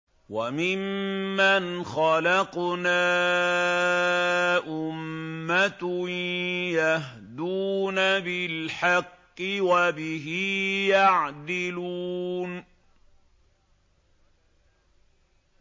وَمِمَّنْ خَلَقْنَا أُمَّةٌ يَهْدُونَ بِالْحَقِّ وَبِهِ يَعْدِلُونَ